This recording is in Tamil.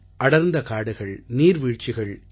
அடர்ந்த காடுகள் நீர்வீழ்ச்சிகள் என ஒரு